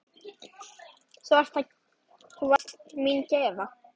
Þú varst mín gæfa.